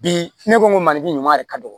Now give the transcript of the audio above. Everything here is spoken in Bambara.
Bi ne ko ko mali ɲuman de ka dɔgɔn